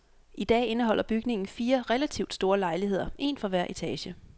I dag indeholder bygningen fire relativt store lejligheder, en for hver etage.